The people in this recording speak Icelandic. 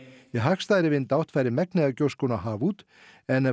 í hagstæðri vindátt færi megnið af gjóskunni á haf út en ef